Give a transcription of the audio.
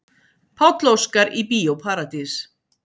Páll Óskar í Bíó Paradís